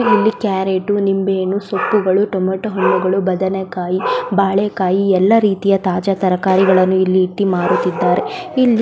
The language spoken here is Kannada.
ಇಲ್ಲಿ ಕ್ಯಾರಟ್ ನಿಂಬೆ ಹಣ್ಣು ಸೊಪ್ಪುಗಳು ಟೊಮೇಟೊ ಹಣ್ಣುಗಳು ಬದನೆಕಾಯಿ ಬಾಳೆಕಾಯಿ ಎಲ್ಲ ರೀತಿಯ ತಾಜಾ ತರಕಾರಿಗಳನ್ನು ಇಟ್ಟು ಮಾರುತ್ತಿದ್ದಾರೆ ಇಲ್ಲಿ --